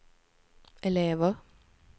elever